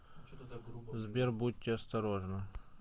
сбер будьте осторожны